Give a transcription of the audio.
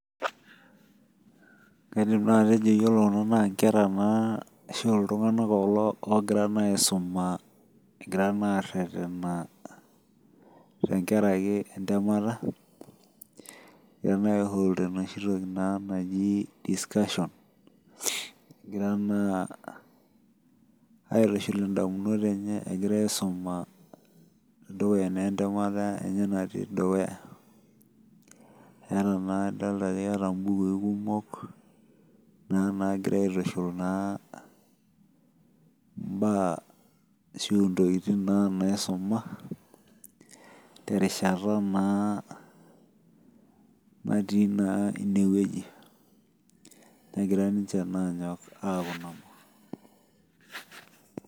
kaidim naa atejo iyiolo kuna naa inkera ashu iltung'anak aisuma egira naa arerena tengaraki entemata egira naa ai hold enoshi toki naaji discussion egira naa aitushul idamunot enye aisuma tengara naa entemata enye natii dukuya eeta naa adolta ake naa gira aitushul ashu intokitin naa naisuma negira niche anyok aitadamuno.